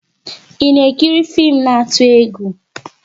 I na ekiri fim na atụ-egwú?